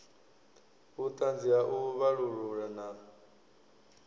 vhuṱanzi ha u vhalulula na